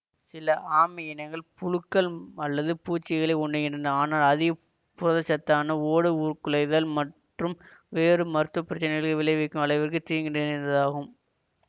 சில ஆமை இனங்கள் புழுக்கள் அல்லது பூச்சிகளை உண்ணுகின்றன ஆனால் அதிக புரதச்சத்தானது ஓடு உருக்குலைதல் மற்றும் வேறு மருத்துவ பிரச்னைகளை விளைவிக்கும் அளவிற்கு தீங்கு நிறைந்ததாகும்